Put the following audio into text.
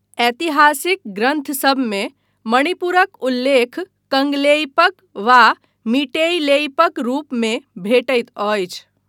ऐतिहासिक ग्रन्थसभमे मणिपुरक उल्लेख कंगलेइपक वा मीटेइलेइपक रूपमे भेटैत अछि।